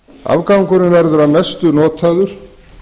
afgangurinn verður að mestu notaður